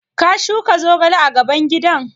Ka shuka zogale a gaban gidan?